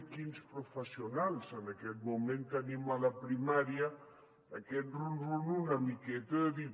quins professionals en aquest moment tenim a la primària aquest rum rum una miqueta de dir